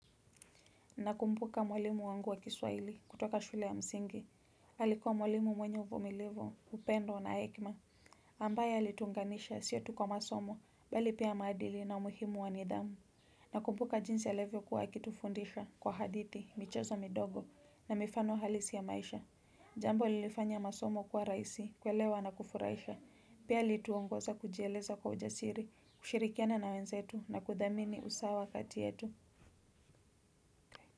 Nakumbuka mwalimu wangu wa kiswaili kutoka shule ya msingi alikua mwalimu mwenye uvumilivu upendo na hekma ambaye alituunganisha sio tu kwa masomo bali pia maadili na umuhimu wa nidhamu. Nakubuka jinsi alevyo kuwa akitufundisha kwa hadithi, michezo midogo na mifano halisi ya maisha. Jambo lilifanya masomo kuwa rahisi, kuelewa na kufuraisha. Pia alituongoza kujieleza kwa ujasiri, kushirikiana na wenzetu na kudhamini usawa kati yetu.